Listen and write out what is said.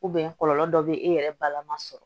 kɔlɔlɔ dɔ be yen e yɛrɛ balaman sɔrɔ